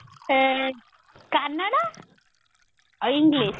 ସେ କାନାଡା ଆଉ English